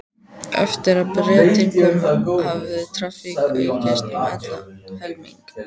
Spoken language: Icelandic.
Eftir að Bretinn kom hafði traffíkin aukist um allan helming.